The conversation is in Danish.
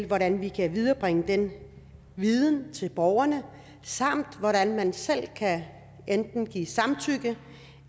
hvordan vi kan viderebringe den viden til borgerne samt hvordan man selv kan enten give samtykke